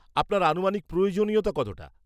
আপনার আনুমানিক প্রয়োজনীয়তা কতটা?